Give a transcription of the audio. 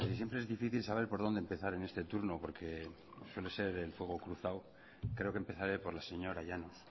casi siempre es difícil saber por dónde empezar en este turno porque suele ser el fuego cruzado creo que empezaré por la señora llanos